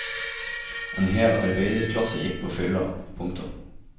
En hel arbeiderklasse gikk på fylla. punktum